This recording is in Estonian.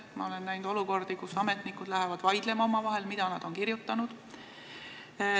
Ma olen näinud olukordi, kus ametnikud lähevad omavahel vaidlema selle üle, mida nad on kirjutanud.